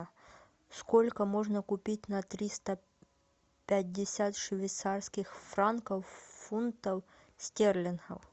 сколько можно купить на триста пятьдесят швейцарских франков фунтов стерлингов